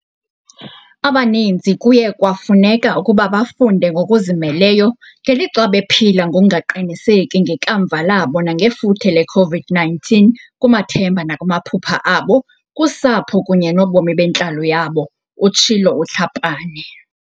"Abaninzi kuye kwafuneka ukuba bafunde ngokuzimeleyo, ngelixa bephila ngokungaqiniseki ngekamva labo nangefuthe le-COVID-19 kumathemba nakumaphupha abo, kusapho kunye nobomi bentlalo yabo," utshilo uTlhapane.